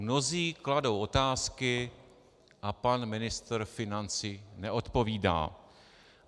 Mnozí kladou otázky a pan ministr financí neodpovídá.